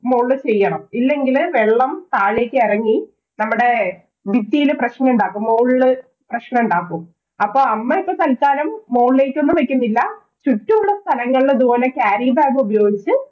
മോളില് ചെയ്യണം. ഇല്ലെങ്കില് വെള്ളം താഴേക്കിറങ്ങി നമ്മടെ ഭിത്തിയില് പ്രശ്നമുണ്ടാക്കും. മോളില് പ്രശ്നമുണ്ടാക്കും. അപ്പൊ അമ്മ ഇപ്പം തല്ക്കാലം മോളിലേക്കൊന്നും വയ്ക്കുന്നില്ല. ചുറ്റും ഉള്ള സ്ഥലങ്ങളില് ഇതുപോലെ carry bag ഉപയോഗിച്ച്